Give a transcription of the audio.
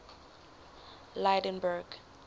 lydenburg